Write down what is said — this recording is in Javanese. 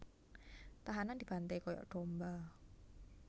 Tahanan dibanté kaya domba